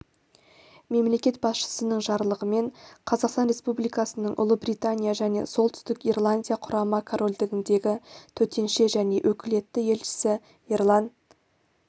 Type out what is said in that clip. мемлекет басшысының жарлығымен қазақстан республикасының ұлыбритания және солтүстік ирландия құрама корольдігіндегі төтенше және өкілетті елшісі ерлан